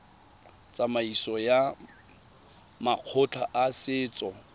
tsamaisong ya makgotla a setso